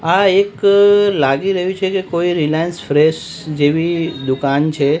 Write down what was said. આ એક લાગી રહ્યું છે કે કોઈ રિલાયન્સ ફ્રેશ જેવી દુકાન છે.